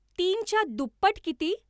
तीनच्या दुप्पट किती